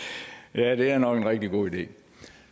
ja det er nok en god idé